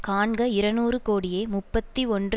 காண்க இருநூறு கோடியே முப்பத்தி ஒன்று